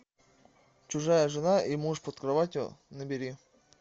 чужая жена и муж под кроватью набери